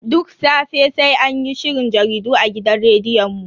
Duk safe sai anyi sharhin jaridu a gidan rediyon mu.